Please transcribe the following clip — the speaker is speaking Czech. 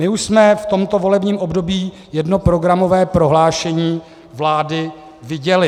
My už jsme v tomto volebním období jedno programové prohlášení vlády viděli.